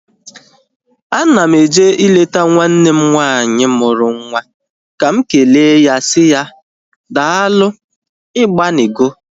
Ana m eje ileta nwanne m nwaanyị mụrụ nwa ka m ekele ya si ya, daalu igbanigo.